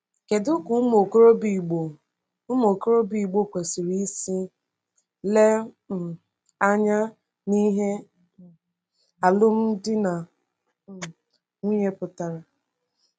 Kedu ka ụmụ okorobịa Igbo ụmụ okorobịa Igbo kwesịrị isi le um anya n’ihe um alụmdi na um nwunye pụtara?